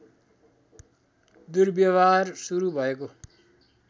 दुर्व्यवहार सुरु भएको